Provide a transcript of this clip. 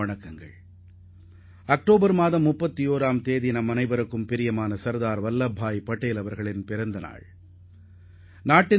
வருகிற அக்டோபர் 31 அன்று நமது பேரன்பிற்குரிய சர்தார் வல்லபாய் பட்டேலின் பிறந்தநாள் ஆகும்